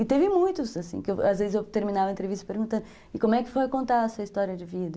E teve muitos, assim, que às vezes eu terminava a entrevista perguntando, e como é que foi contar essa história de vida?